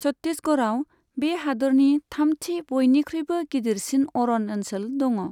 छत्तीसगढ़आव बे हादोरनि थामथि बयनिख्रुइबो गिदिरसिन अरन ओनसोल दङ।